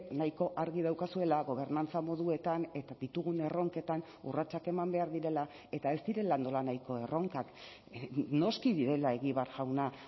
nahiko argi daukazuela gobernantza moduetan eta ditugun erronketan urratsak eman behar direla eta ez direla nolanahiko erronkak noski direla egibar jauna